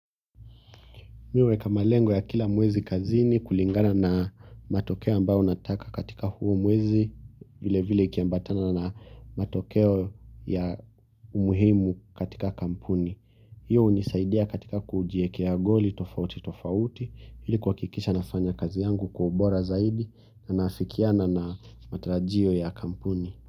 Mi huweka malengo ya kila mwezi kazini kulingana na matokeo ambayo nataka katika huo mwezi vile vile ikiambatana na matokeo ya umuhimu katika kampuni. Hiyo hunisaidia katika kujiekea goli tofauti tofauti ili kuhakikisha nafanya kazi yangu kwa ubora zaidi na naafikiana na matarajio ya kampuni.